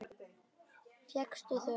Fékkstu þau ekki?